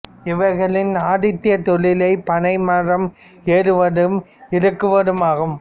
இவர்களின் ஆதித் தொழிலே பனை மரம் ஏறுவதும் கள் இறக்குவதும் ஆகும்